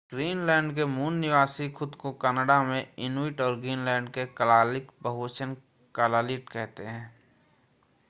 Greenland के मूल निवासी खुद को कनाडा में इनुइट और ग्रीनलैंड में कलालीक बहुवचन कलालीट कहते हैं।